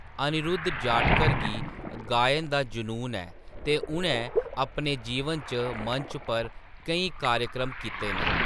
अनिरुद्ध जाटकर गी गायन दा जुनून ऐ ते उ’नैं अपने जीवन च मंच पर केईं कार्यक्रम कीते न ।